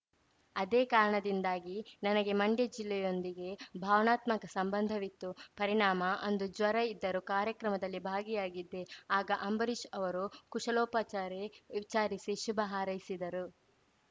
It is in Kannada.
ಅದೇ ಕಾರಣದಿಂದಾಗಿ ನನಗೆ ಮಂಡ್ಯ ಜಿಲ್ಲೆಯೊಂದಿಗೆ ಭಾವನಾತ್ಮಕ ಸಂಬಂಧವಿತ್ತು ಪರಿಣಾಮ ಅಂದು ಜ್ವರ ಇದ್ದರೂ ಕಾರ್ಯಕ್ರಮದಲ್ಲಿ ಭಾಗಿಯಾಗಿದ್ದೆ ಆಗ ಅಂಬರೀಷ್‌ ಅವರು ಕುಶಲೋಪಚಾರಿ ವಿಚಾರಿಸಿ ಶುಭ ಹಾರೈಸಿದ್ದರು